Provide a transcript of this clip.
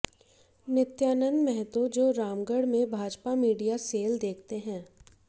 नित्यानंद महतो जो रामगढ में Bhajpa media cell देखते हैं